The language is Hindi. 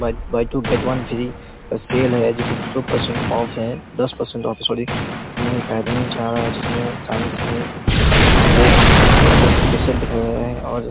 one one two get one free sale हैं जो की सौ परसेंट ऑफ हैं दस परसेंट ऑफ सॉरी लेकिन एक आदमी जा रहा हैं जो की और